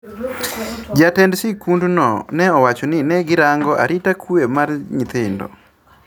Jatend sikundno ne owacho ni ne girango arita kwee mar nyithindo